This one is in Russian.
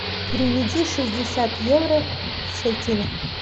переведи шестьдесят евро в шекели